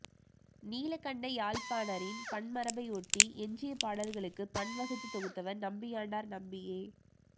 நீலகண்டயாழ்ப்பாணரின் பண் மரபை ஒட்டி எஞ்சியபாடல்களுக்கு பண்வகுத்துத் தொகுத்தவர் நம்பியாண்டார் நம்பியே